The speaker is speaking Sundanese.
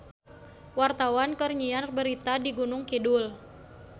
Wartawan keur nyiar berita di Gunung Kidul